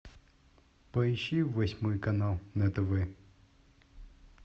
поищи восьмой канал на тв